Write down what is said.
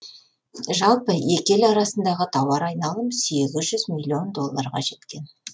жалпы екі ел арасындағы тауар айналым сегізжүз миллион долларға жеткен